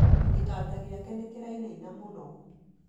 Gĩtanda gĩake nĩkĩrainaina mũno